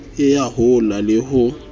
e ya hola le ho